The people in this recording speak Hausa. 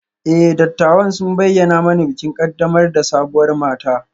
E, dattawan sun bayyana mani bikin ƙaddamar da sabuwar mata